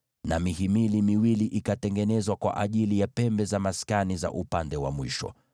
na mihimili miwili ikatengenezwa kwa ajili ya pembe za maskani za upande uliokuwa mbali.